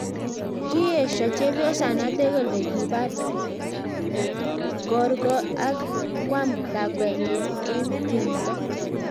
kiiyosho chepyosonatek kale kipar kokorgot ak koam lakwenyi eng tumto